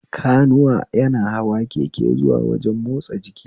Kanuwa yana hawa keke zuwa wajen motsa jiki